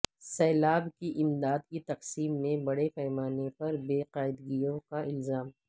سیلاب کی امداد کی تقسیم میں بڑے پیمانہ پر بے قاعدگیوں کا الزام